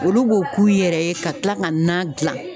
Olu b'o k'u yɛrɛ ye ka kila ka nan gilan.